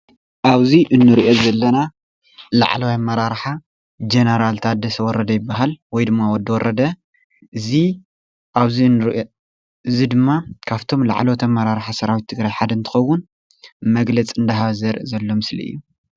ኣብዚ እንሪኦ ዘለና ላዕለዋይ ኣመራርሓ ጀነራል ታደሰ ወረደ ይበሃል ወይድማ ወዲ ወረደ። እዚ ድማ ካፍቶም ላዕለዋይ ኣመራርሓ ሰራዊት ትግራይ ሓደ እንትከውን መግለፂ እንዳሃበ ዘርኢ ዘሎ ምስሊ እዩ::